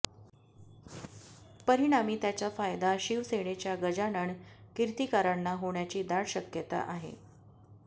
परिणामी त्याचा फायदा शिवसेनेच्या गजानन कीर्तिकारांना होण्याची दाट शक्यता आहे